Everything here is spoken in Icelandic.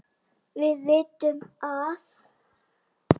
Við vitum að